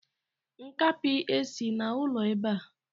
Nkapi esi n'ụlọ ebe a.